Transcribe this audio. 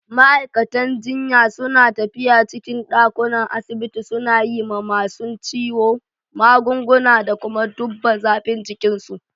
Ma'aikatan jinya su na tafiya cikin dakunan asibiti suna yi ma masun ciwo magunguna da kuma dubba zafin jikin su.